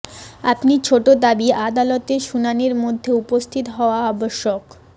আপনি ছোট দাবী আদালতের শুনানির মধ্যে উপস্থিত হওয়া আবশ্যক